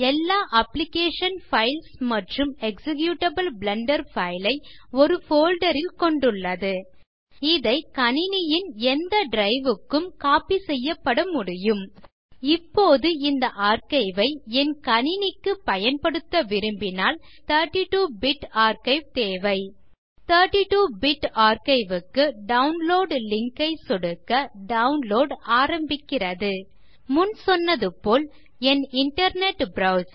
எல்லா application files மற்றும் executable blender file ஐ ஒரு போல்டர் ல் கொண்டுள்ளது இதை கணினியின் எந்த டிரைவ் க்கும் கோப்பி செய்யபடமுடியும் இப்போது இந்த ஆர்க்கைவ் ஐ என் கணினிக்கு பயன்படுத்த விரும்பினால் எனக்கு 32 பிட் ஆர்க்கைவ் தேவை 32 பிட் ஆர்க்கைவ் க்கு டவுன்லோட் லிங்க் ஐ சொடுக்க டவுன்லோட் ஆரம்பிக்கிறது முன் சொன்னது போல் என் இன்டர்நெட் ப்ரவ்சர்